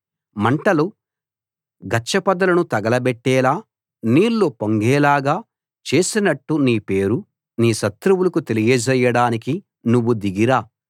మంటలు గచ్చ పొదలను తగలబెట్టేలా నీళ్ళు పొంగేలాగా చేసినట్టు నీ పేరు నీ శత్రువులకు తెలియజేయడానికి నువ్వు దిగి రా